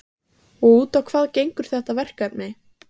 Magnús Hlynur Hreiðarsson: Og út á hvað gengur þetta verkefni?